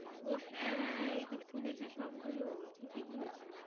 ও হ্যাঁ এই তো খুলেছে সব গুলো ঠিকই বলেছিস।